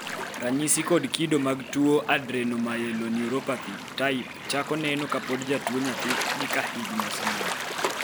ranyisi kod kido mag tuwo adrenomyeloneuropathy type chako neno kapod jatuwo nyathii gi kahikgi oseniang'